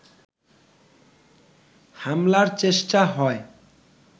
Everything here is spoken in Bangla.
হামলার চেষ্টা হয়